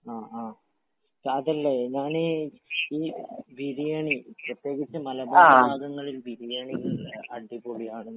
ആ ആ. ഞാനീ ഈ ബിരിയാണി പ്രതേകിച്ചു മലബാറ് ആ ഭാഗങ്ങളിൽ ബിരിയാണി അടിപൊളിയാണെന്നാണ്.